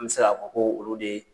An be se ka fɔ koo olu de